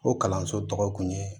O kalanso tɔgɔ kun ye